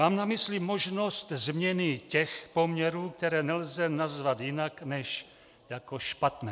Mám na mysli možnost změny těch poměrů, které nelze nazvat jinak než jako špatné.